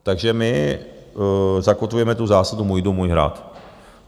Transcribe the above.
Takže my zakotvujeme tu zásadu můj dům, můj hrad.